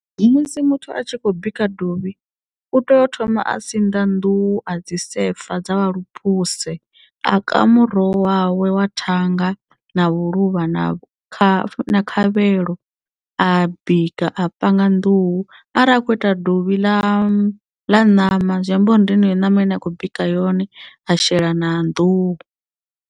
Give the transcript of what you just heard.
Musi muthu a tshi khou bika dovhi u tea u thoma a sinḓa nḓuhu a dzi sefa dza vha lupuse a ka muroho wawe wa thanga na vhuluvha na kha khavhelo a bika a panga nḓuhu ara akho ita dovhi ḽa ḽa ṋama zwi amba uri ndi yeneyo ṋama ine a khou bika yone a shela na nḓuhu.